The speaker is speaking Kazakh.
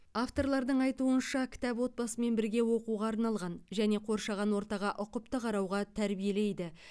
авторлардың айтуынша кітап отбасымен бірге оқуға арналған және қоршаған ортаға ұқыпты қарауға тәрбиелейді